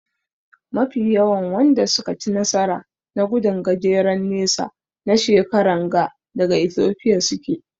Mafi yawan Wanda suka ci nasara na gudun gajeren nesa na shekaran ga daga Ethiopia suke.